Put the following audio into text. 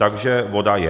Takže voda je.